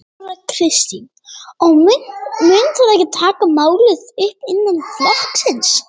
Þóra Kristín: Og munt ekki taka málið upp innan flokksins?